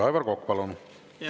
Aivar Kokk, palun!